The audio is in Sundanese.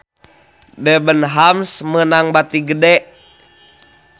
Debenhams meunang bati gede